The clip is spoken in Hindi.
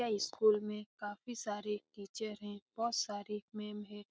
ये स्कूल में काफ़ी सारे टीचर हैं और बहुत सारे मेम हैं ।